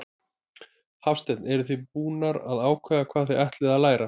Hafsteinn: Eruð þið búnar að ákveða hvað þið ætlið að læra?